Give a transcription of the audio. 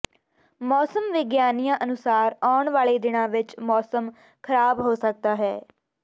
ਮੌਸਮ ਵਿਗਿਆਨੀਆਂ ਅਨੁਸਾਰ ਆਉਣ ਵਾਲੇ ਦਿਨਾਂ ਵਿੱਚ ਮੌਸਮ ਖ਼ਰਾਬ ਹੋ ਸਕਦਾ